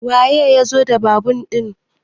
waye ya zo da babur ɗin?